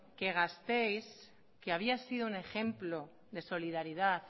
que gasteiz que había sido un ejemplo de solidaridad